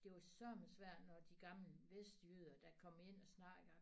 Det var sørme svært når de gamle vestjyder der kom ind og snakker